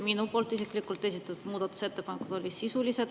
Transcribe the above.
Minu poolt isiklikult esitatud muudatusettepanekud olid sisulised.